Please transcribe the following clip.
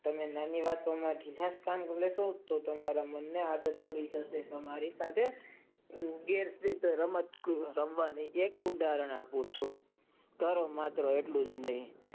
તને નાની વાતો માં ખીજાય છે અને તે તેના મન ને આદત પડી શકે છે હું એક એની માટે ઉદાહર આપું છું ટેરો મેટ્રો એટલું જ નહિ.